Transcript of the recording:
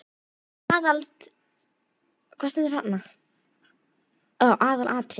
Aðalatriðið er þó að seðja hégóma höfundar.